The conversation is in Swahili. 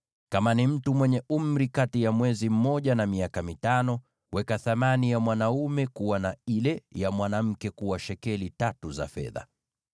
Kama ni mtu mwenye umri kati ya mwezi mmoja na miaka mitano, weka thamani ya mwanaume kuwa shekeli tano za fedha, na ile ya mwanamke kuwa shekeli tatu za fedha.